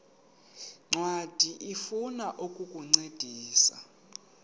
ncwadi ifuna ukukuncedisa